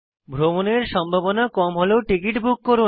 ভ্রমণের সম্ভাবনা কম হলেও টিকিট বুক করুন